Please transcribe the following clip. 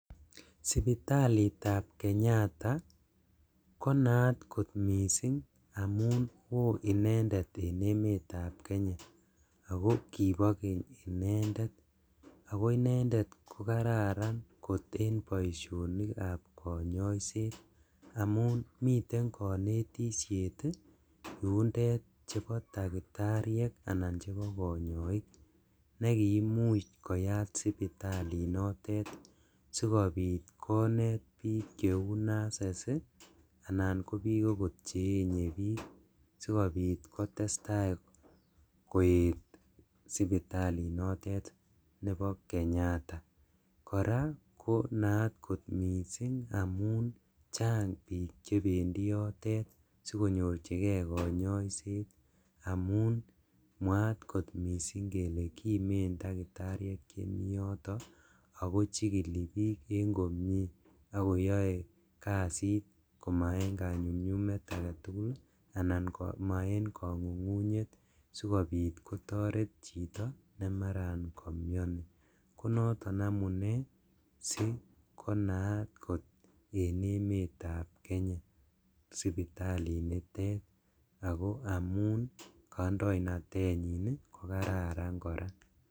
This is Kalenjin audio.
Sipitalitab Kenyatta konaat kot missing' amun woo inendet en emetab Kenya ako kibo keny inendet, ako inendet kokararan en boisionikab konyoiset, amun miten konyoiset yundet chebo daktariek anan chebo konyoik nekiimuch koyat sipitalinotet sikobit konet bik cheu nurses anan kobik okot cheenye bik sikobit kotestaa koet sipitalinotet nebo Kenyatta, koraa konaat kot missing' amun chang bik chebendi yotet sikonyorjigee konyoiset amun mwaat kot missing' kele kimen daktariek chemiyoto ako chikili bik en komie akoyoe kasit komaenkonyumnyumet agetugul anan komoen kongungunyet sikobit kotoret chiton nemaran komioni, konoton amune sikonaat kot en emetab Kenya sipitalinitet ako amun kandoinatenyin kokararan koraa.